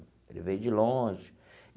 Ele veio de longe.